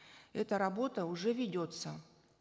эта работа уже ведется